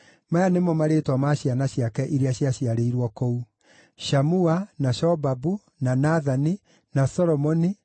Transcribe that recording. Maya nĩmo marĩĩtwa ma ciana ciake iria ciaciarĩirwo kũu: Shamua, na Shobabu, na Nathani, na Solomoni,